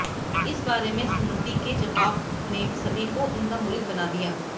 इस बारे में स्मृति के जवाब ने सभी को उनका मुरीद बना दिया